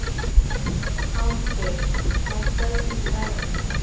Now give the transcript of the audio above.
Álfgeir, lækkaðu í græjunum.